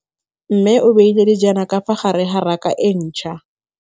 Mmê o beile dijana ka fa gare ga raka e ntšha.